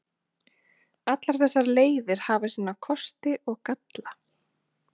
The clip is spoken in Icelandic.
Allar þessar leiðir hafa sína kosti og galla.